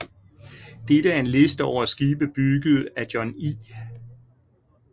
Dette er en liste over skibe bygget af John I